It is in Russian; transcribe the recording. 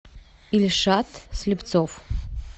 ильшат слепцов